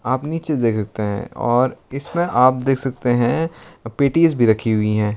आप नीचे देख सकते हैं और इसमें आप देख सकते हैं पेटीस भी रखी हुई है।